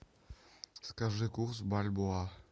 скажи курс бальбоа